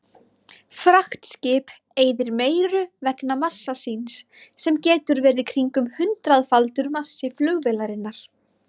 Fraktskip eyðir meiru vegna massa síns sem getur verið kringum hundraðfaldur massi flugvélarinnar.